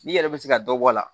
N'i yɛrɛ bɛ se ka dɔ bɔ a la